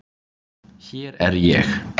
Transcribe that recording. Hér er ég.